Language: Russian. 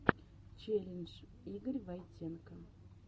челлендж игорь войтенко